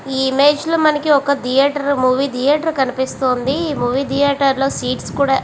ఈ ఇమేజ్ లో మనకి ఒక ధియేటర్ ఒక మూవీ ధియేటర్ కనిపిస్తుంది ఈ మూవీ ధియేటర్ లో సీట్స్ కూడా--